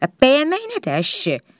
Bəyənmək nədir a kişi?